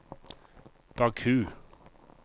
Baku